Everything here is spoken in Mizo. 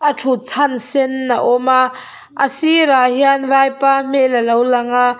a thut chan sen a awm a a sirah hian vaipa hmel a lo lang a.